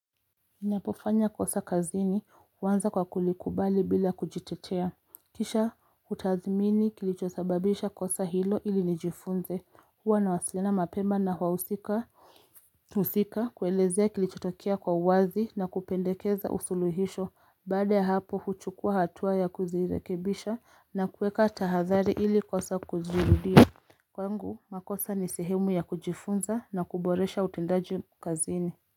Ninapofanya kosa kazini huanza kwa kulikubali bila kujitetea Kisha hutathmini kilichosababisha kosa hilo ili nijifunze huwa nawasilana mapema na wahusika Usika kuelezea kilichotokea kwa uwazi na kupendekeza usuluhisho baada ya hapo huchukua hatua ya kuzirekebisha na kueka tahadhari ili kosa kuzirudia Kwangu makosa ni sehemu ya kujifunza na kuboresha utendaji kazini.